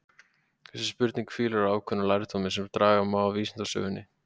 Þessi spurning hvílir á ákveðnum lærdómi sem draga má af vísindasögunni.